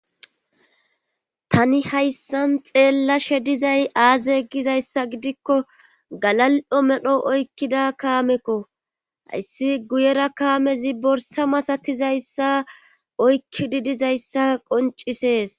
Tani hayssan xeellashe dizay aaze gizayssa gidikko galal7o medho oykkida kaamekko hayssi guyera kaamezi borsa masakizayssa oykkidi dizayssa qoncisees.